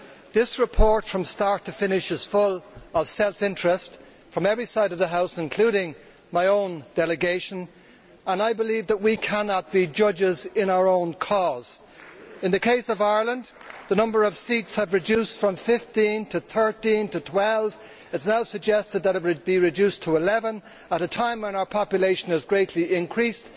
This report from start to finish is full of self interest from every side of the House, including my own delegation, and I believe that we cannot be judges in our own cause. In the case of Ireland, the number of seats has reduced from 15 to 13, to 12. It is now suggested that it be reduced to 11 at a time when our population has greatly increased.